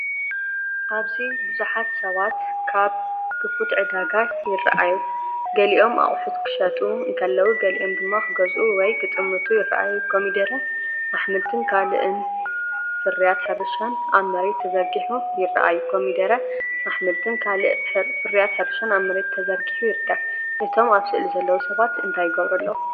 ኣብዚ ብዙሓት ሰባት ኣብ ክፉት ዕዳጋ ይረኣዩ። ገሊኦም ኣቑሑት ክሸጡ እንከለዉ፡ ገሊኦም ድማ ክገዝኡ ወይ ክጥምቱ ይረኣዩ። ኮሚደረ፡ ኣሕምልትን ካልእ ፍርያት ሕርሻን ኣብ መሬት ተዘርጊሑ ይርከብ። እቶም ኣብ ስእሊ ዘለዉ ሰባት እንታይ ይገብሩ ኣለዉ?